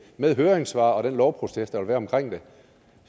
med høringssvar og den lovproces der vil være omkring det